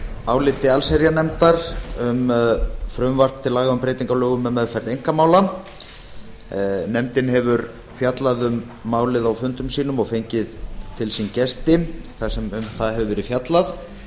áliti allsherjarnefndar um frumvarp til laga um breytingu á lögum um meðferð einkamála nefndin hefur fjallað um málið á fundum sínum og fengið til sín gesti þar sem um það hefur verið fjallað